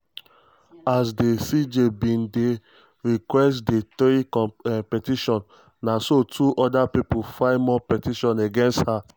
as di cj bin dey request di three petitions na so two oda pipo file more petitions against her.